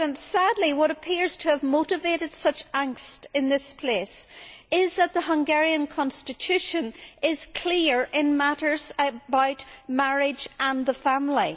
Sadly, what appears to have motivated such angst in this place is that the Hungarian constitution is clear in matters about marriage and the family.